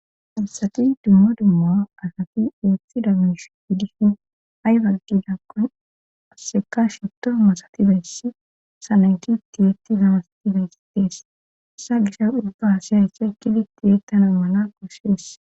Damsati dumma dumma asati uothi damish iddishin haywangidakkon asseka shito masatibayssi salanki tiyeetti gamasatibayssitees esa gisha ubba hasiyayssa ekidi tiyeettana mala kosshees.